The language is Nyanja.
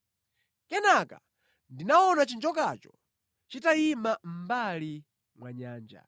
Kenaka ndinaona chinjokacho chitayima mʼmbali mwa nyanja.